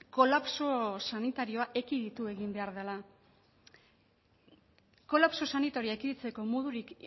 kolapso sanitarioa ekiditu egin behar dela kolapso sanitarioa ekiditzeko modurik